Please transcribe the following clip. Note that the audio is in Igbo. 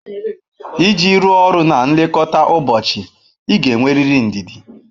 Iji rụọ ọrụ na nlekọta ụbọchị ị ga-enwerịrị ndidi.